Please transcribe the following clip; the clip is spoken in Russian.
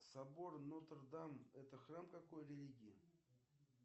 собор нотр дам это храм какой религии